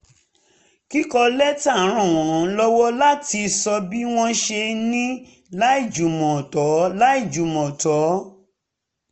kíkọ lẹ́tà um ràn wọ́n um lọ́wọ́ láti sọ bí wọ́n ṣe ń ní láìjùmọ̀ tó láìjùmọ̀ tó